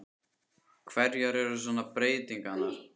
Hverjar eru svona breytingarnar?